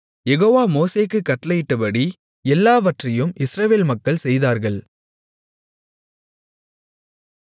யெகோவா மோசேக்குக் கட்டளையிட்டபடி எல்லாவற்றையும் இஸ்ரவேல் மக்கள் செய்தார்கள்